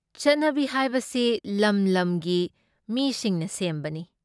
ꯆꯠꯅꯕꯤ ꯍꯥꯏꯕꯁꯤ ꯂꯝ ꯂꯝꯒꯤ ꯃꯤꯁꯤꯡꯅ ꯁꯦꯝꯕꯅꯤ ꯫